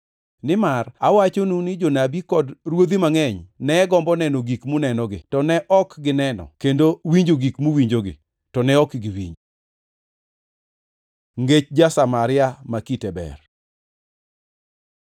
Nimar awachonu ni jonabi kod ruodhi mangʼeny ne gombo neno gik munenogi, to ne ok gineno kendo winjo gik muwinjogi, to ne ok giwinjo.” Ngech ja-Samaria ma kite ber